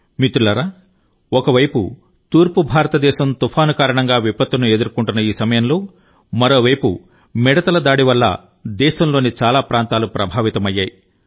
మిత్రులారా ఒక వైపు తూర్పు భారతదేశం తుఫాను కారణంగా విపత్తును ఎదుర్కొంటున్న ఈ సమయంలో మరోవైపు మిడుతల దాడి వల్ల దేశంలోని చాలా ప్రాంతాలు ప్రభావితమయ్యాయి